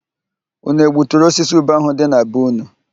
Ụnụ egbuturu osisi ube ahụ dị na be ụnụ?